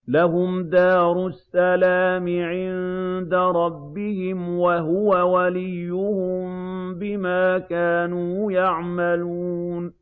۞ لَهُمْ دَارُ السَّلَامِ عِندَ رَبِّهِمْ ۖ وَهُوَ وَلِيُّهُم بِمَا كَانُوا يَعْمَلُونَ